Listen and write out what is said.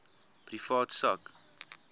privaat sak